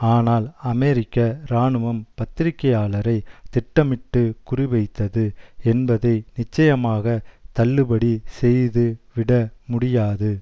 ஆனால் அமெரிக்க இராணுவம் பத்திரிகையாளரை திட்டமிட்டு குறிவைத்தது என்பதை நிச்சயமாக தள்ளுபடி செய்து விட முடியாது